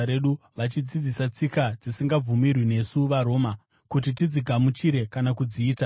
vachidzidzisa tsika dzisingabvumirwi nesu vaRoma kuti tidzigamuchire kana kudziita.”